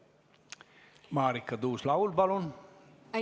Marika Tuus-Laul, palun!